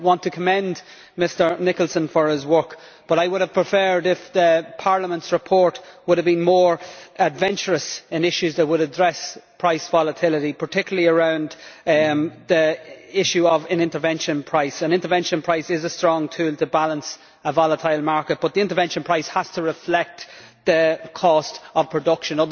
I want to commend Mr Nicholson for his work, but I would have preferred Parliament's report to have been more adventurous in issues that would address price volatility, particularly around the issue of an intervention price. An intervention price is a strong tool to balance a volatile market, but the intervention price has to reflect the cost of production.